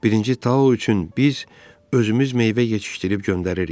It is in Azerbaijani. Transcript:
Birinci Tao üçün biz özümüz meyvə yetişdirib göndəririk.